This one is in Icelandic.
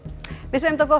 gott